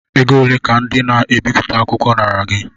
Ego ole ka ndị na-ebipụta akwụkwọ nara gị?